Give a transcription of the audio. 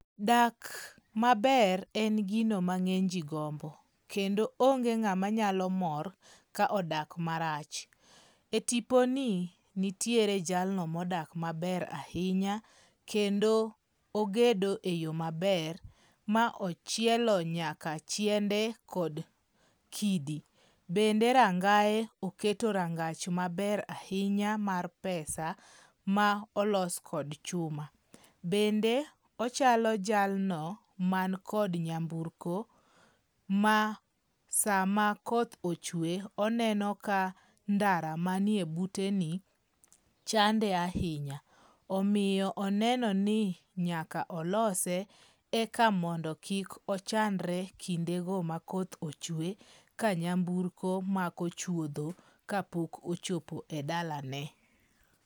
Dak maber en gino ma ng'eny ji gombo, kendo onge ng'ama nyalo mor ka odak marach. E tiponi, nitiere jalno ,modak maber ahinya kendo ogedo eyo maber ma ochielo nyaka chiende kod kidi. Bende rangaye oketo rangach maber ahinya mar pesa ma olos kod chuma. Bende ochalo jalno man kod nyamburko, ma sama koth ochwe oneno ka ndara manie buteni chande ahinya. Omiyo oneno ni nyaka olose eka mondo kik ochandre kindego ma koth ochwe, ka nyamburko mako chuodho kapok ochopo e dalane.